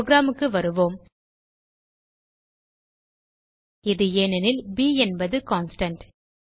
program க்கு வருவோம் இது ஏனெனில் ப் என்பது கான்ஸ்டன்ட்